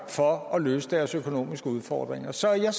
for at løse deres økonomiske udfordringer så jeg